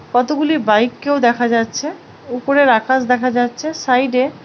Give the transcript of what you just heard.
কতগুলি বাইক - কেউ দেখা যাচ্ছে উপরের আকাশ দেখা যাচ্ছে সাইড - এ--